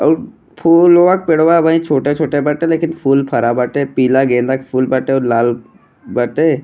आउ फुलवा के पेड़वा अबिहिन छोटा -छोटा बाटे लेकिन फूल फरा बाटे पीला गेंदा के फूल बाटे और लाल बाटे।